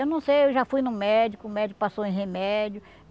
Eu não sei, eu já fui no médico, o médico passou em remédio.